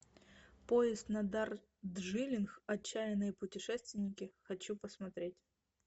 поезд на дарджилинг отчаянные путешественники хочу посмотреть